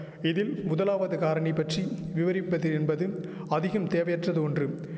இதில் முதலாவது காரணி பற்றி விவரிப்பது என்பது அதிகம் தேவையற்றது ஒன்று